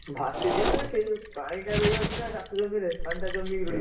ଭାସିଯିବ ନା ସେ ଯଉ ପାଣି ଟା ରହିଯାଉଛି ନା ଚାଷ ଜମିରେ ପାଣି ଟା ଜମି କି ରହିବ?